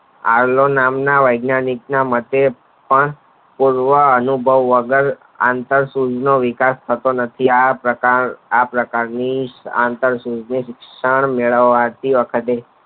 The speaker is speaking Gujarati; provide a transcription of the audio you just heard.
આવલન નામ ના વૈજ્ઞાનિક મતે પણ કોઈ અનુભવ વગર આંતરસુંથ નો વિકાસ થતો નથી આ પ્રક આ પ્રકાર ની આંતરસુંથ શિક્ષણ મેળવાથી